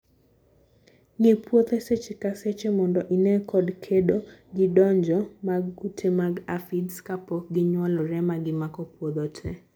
Ngi puothe seche ka seche mondo inee kod kedo gi donjo mag kute mag aphids kapok ginyuolremagimako puodho tee.